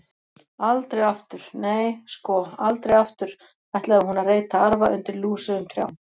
Aldrei aftur, nei, sko, aldrei aftur ætlaði hún að reyta arfa undir lúsugum trjám.